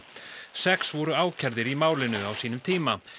sex voru ákærðir í málinu á sínum tíma